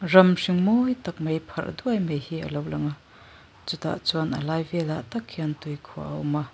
ram hring mawi tak mai pharh duaih mai hi alo lang a chutah chuan a lai vel ah tak hian tui khuah a awm a.